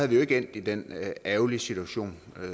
vi jo ikke endt i den ærgerlige situation